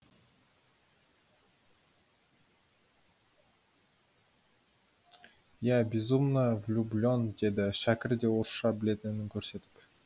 я безумно влюблен деді шәкір де орысша білетінін көрсетіп